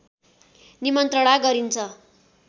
निमन्त्रणा गरिन्छ